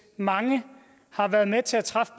mange har været med til at træffe